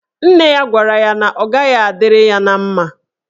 Nne ya gwara ya na ọ gaghị adịrị ya na mma.